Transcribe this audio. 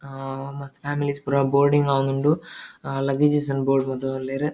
ಹಾ ಮಸ್ತ್ ಫ್ಯಾಮಿಲೀಸ್ ಪುರ ಬೋರ್ಡಿಂಗ್ ಆವೊಂದುಂಡು ಲಗೇಜಸ್ ನ್ ಬೋರ್ಡ್ ಮತೊಂದು ಉಲ್ಲೆರ್.